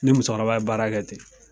N ni musokɔrɔba ye baarakɛ ten.